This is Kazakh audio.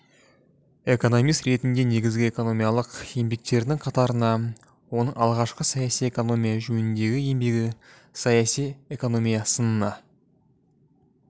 экономист ретінде негізгі экономикалық еңбектерінің қатарына оның алғашқы саяси экономия жөніндегі еңбегі саяси экономия сынына